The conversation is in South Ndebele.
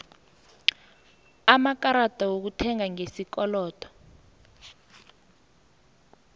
amakarada wokuthenga ngesikolodo